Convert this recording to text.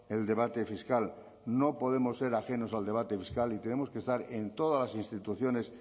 el debate fiscal no podemos ser ajenos al debate fiscal y tenemos que estar en todas las instituciones